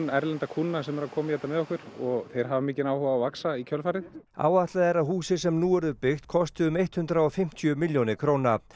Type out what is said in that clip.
erlenda kúnna sem eru að koma í þetta með okkur og þeir hafa mikinn áhuga á að vaxa í kjölfarið áætlað er að húsið sem nú verður byggt kosti um hundrað og fimmtíu milljónir króna